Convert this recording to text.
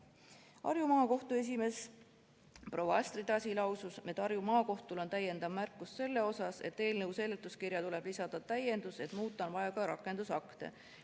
Harju Maakohtu esimees proua Astrid Asi lausus, et Harju Maakohtul on täiendav märkus selle kohta, et eelnõu seletuskirja tuleb lisada täiendus, et muuta on vaja ka rakendusakte.